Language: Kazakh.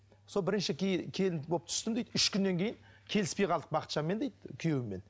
сол бірінші келін болып түстім дейді үш күннен кейін келіспей қалдық бақытжанмен дейді күйеуімен